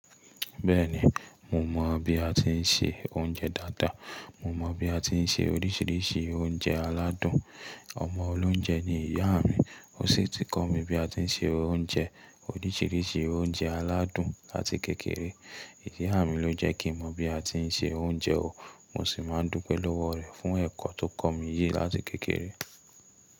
Bẹ́ẹ̀ni, mo mọ̀ bí a ti ń se oúnjẹ dáadáa. Mo mọ bí a ti ń se oríṣiríṣi oúnjẹ aládùn. Ọmọ olóunjẹ ni ìyá mi. Ó sì ti kọ́ mi bí a ti ń se oúnjẹ oríṣiríṣi oúnjẹ aládùn láti kékeré. Ìyá mi ló jẹ́ kí n mọ bí a ti ń se oúnjẹ o. Mo sì máa ń dúpẹ́ lọ́wọ́ rẹ fún ẹ̀kọ́ tó kọ́ mi yìí láti kékeré.